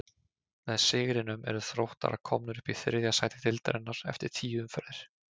Með sigrinum eru Þróttarar komnir upp í þriðja sæti deildarinnar eftir tíu umferðir.